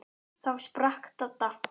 Þá sprakk Dadda.